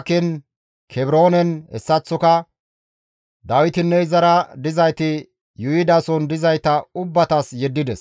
Kebroonen hessaththoka Dawitinne izara dizayti yuuyidason dizayta ubbatas yeddides.